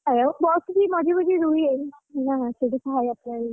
ଏ bus ବି ମଝି ମଝି ରୁହେ ସେଠି ଖାଇବା ପାଇଁ,